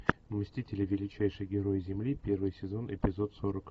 мстители величайшие герои земли первый сезон эпизод сорок